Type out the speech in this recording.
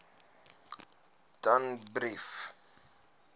danbrief